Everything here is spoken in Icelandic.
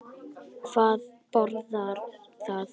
Hvað boðar það?